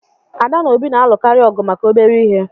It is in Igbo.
Ada na Obi na-alụkarị ọgụ maka obere ihe